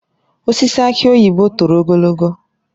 Osisi aki oyibo toro ogologo